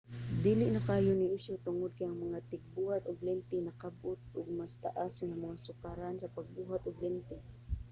dili na kaayo ni isyu tungod kay ang mga tigbuhat og lente nakakab-ot og mas taas nga mga sukaranan sa pagbuhat og lente